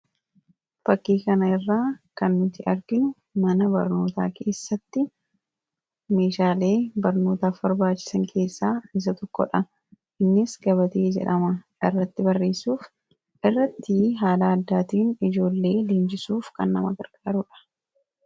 Fakkii kana irraa kan nuti arginu mana barnootaa keessatti meeshaalee barnootaaf barbaachisan keessaa isa tokodha. Innis gabatee jedhama. Irratti barreessuuf, irratti haala addaatiin ijoollee leenjisuuf kan nama gargaarudha.